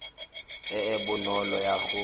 e e bonolo ya go